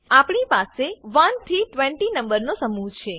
આપણી પાસે 1 થી 20 નંબર નો સમૂહ છે